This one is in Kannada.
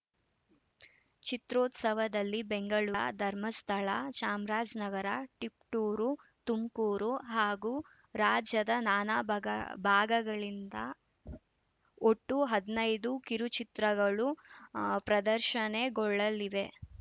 ಚಿತ್ರೋತ್ಸವದಲ್ಲಿ ಬೆಂಗಳೂರ ಧರ್ಮಸ್ಥಳ ಚಾಮರಾಜನಗರ ತಿಪಟೂರು ತುಮಕೂರು ಹಾಗೂ ರಾಜ್ಯದ ನಾನಾ ಬಗ ಭಾಗಗಳಿಂದ ಒಟ್ಟು ಹದ್ ನೈದು ಕಿರುಚಿತ್ರಗಳು ಆ ಪ್ರದರ್ಶನಗೊಳ್ಳಲಿವೆ